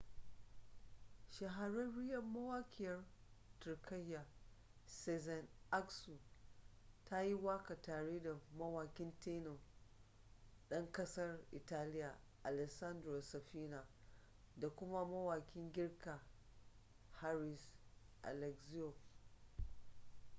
shahararriyar mawaƙiyar turkiyya sezen aksu ta yi waƙa tare da mawaƙin tenor ɗan ƙasar italiya alessandro safina da kuma mawakin girka haris alexiou